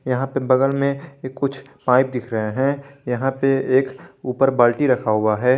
यहां पे बगल में कुछ पाइप दिख रहे हैं यहां पे एक ऊपर बाल्टी रखा हुआ है।